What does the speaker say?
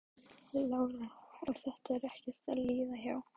Lára: Og þetta er ekkert að líða hjá?